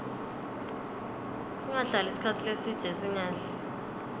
singahlali sikhatsi lesidze singadli